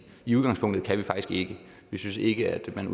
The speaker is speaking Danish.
i udgangspunktet faktisk ikke vi synes ikke at man